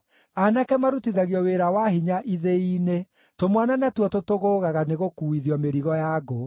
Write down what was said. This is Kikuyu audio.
Aanake marutithagio wĩra wa hinya ithĩi-inĩ; tũmwana natuo tũtũgũũgaga nĩgũkuuithio mĩrigo ya ngũ.